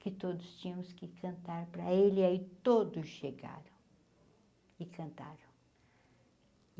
que todos tinhamos que cantar para ele, aí todos chegaram e cantaram.